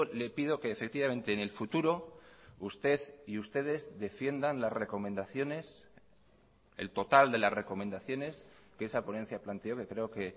le pido que efectivamente en el futuro usted y ustedes defiendan las recomendaciones el total de las recomendaciones que esa ponencia planteó que creo que